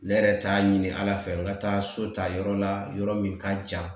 Ne yɛrɛ t'a ɲini ala fɛ n ka taa so ta yɔrɔ la yɔrɔ min ka jan